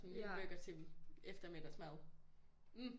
Sådan lige en burger til eftermiddagsmad